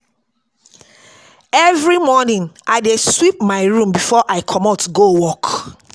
Every morning, I dey sweep my room before I comot go work. work.